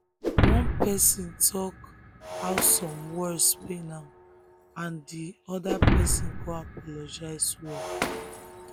one person um talk how some words pain am and di and di other person come apologize well.